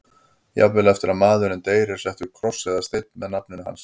Jafnvel eftir að maðurinn deyr er settur kross eða steinn með nafninu hans.